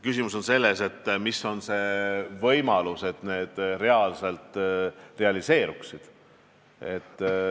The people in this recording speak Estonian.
Küsimus on selles, kui suur on see võimalus, et need tõesti realiseeruvad.